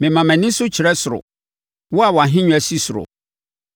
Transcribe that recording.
Mema mʼani so kyerɛ wo, wo a wʼahennwa si ɔsoro.